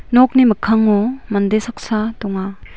nokni mikkango mande saksa donga.